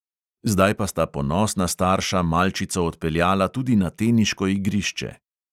Zdaj pa sta ponosna starša malčico odpeljala tudi na teniško igrišče.